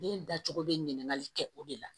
Den dacogo bɛ ɲininkali kɛ o de la